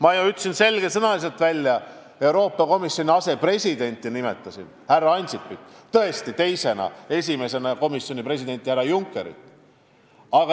Ka nimetasin ma selge sõnaga Euroopa Komisjoni asepresidenti härra Ansipit: teda teisena, esimesena aga komisjoni presidenti härra Junckerit.